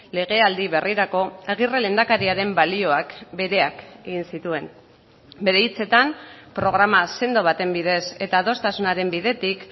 legealdi berrirako aguirre lehendakariaren balioak bereak egin zituen bere hitzetan programa sendo baten bidez eta adostasunaren bidetik